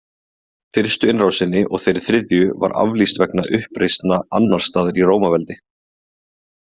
Fyrstu innrásinni og þeirri þriðju var aflýst vegna uppreisna annars staðar í Rómaveldi.